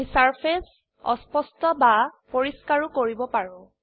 আমি সাৰফেস অস্পষ্ট ৰ্বা পৰিষ্কাৰও কৰিব পাৰো